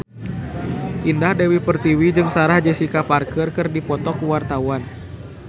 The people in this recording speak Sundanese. Indah Dewi Pertiwi jeung Sarah Jessica Parker keur dipoto ku wartawan